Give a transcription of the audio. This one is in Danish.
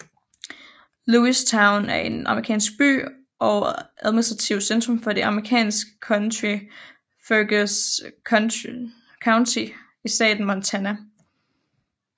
Lewistown er en amerikansk by og administrativt centrum for det amerikanske county Fergus County i staten Montana